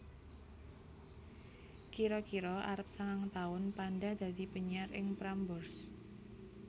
Kira kira arep sangang taun Panda dadi penyiar ing Prambors